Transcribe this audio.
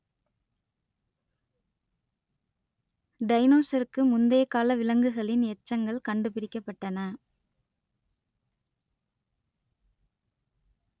டைனோசருக்கு முந்தைய கால விலங்குகளின் எச்சங்கள் கண்டுபிடிக்கப்பட்டன